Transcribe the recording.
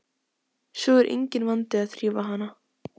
Svo er enginn vandi að þrífa hana.